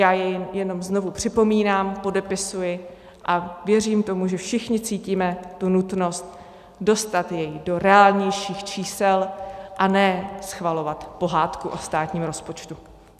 Já jej jenom znovu připomínám, podepisuji a věřím tomu, že všichni cítíme tu nutnost dostat jej do reálnějších čísel, a ne schvalovat pohádku o státním rozpočtu.